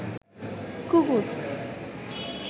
কুকুর